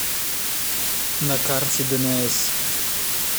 на карте днс